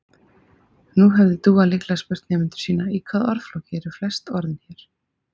Nú hefði Dúa líklega spurt nemendur sína: Í hvaða orðflokki eru flest orðin hér?